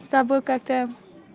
с тобой как то